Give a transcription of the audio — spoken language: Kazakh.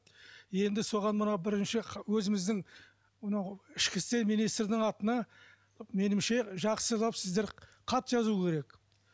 енді соған мына бірінші өзіміздің мынау ішкі істер министрдің атына меніңше жақсылап сіздер хат жазу керек